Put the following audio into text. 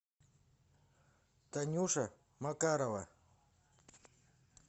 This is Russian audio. танюша макарова